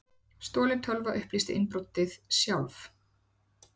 Stolin tölva upplýsti innbrotið sjálf